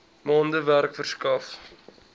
maande werk verskaf